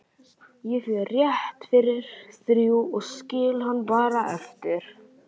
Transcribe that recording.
Ég fer rétt fyrir þrjú og skil hann bara eftir